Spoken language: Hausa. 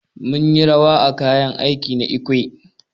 Mun yi rawa wa kayan aiki na ekwe.